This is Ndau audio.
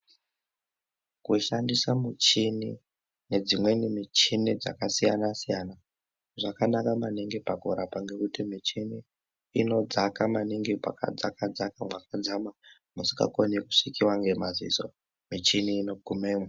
Kushandisa muchini nedzimweni michini dzakasiyana zvakanaka maningi pakurapa ngekuti michini inodzaka maningi pakadzaka dzaka pakadzama musingakoni kusvikiwe ngemadziso michini inogumemwo.